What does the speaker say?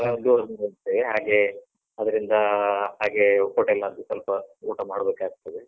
ಹಾಗೆ ಅವರಿಂದ ಹಾಗೆ hotel ನದ್ದು ಸ್ವಲ್ಪ ಊಟ ಮಾಡ್ಬೇಕಾಗ್ತದೆ.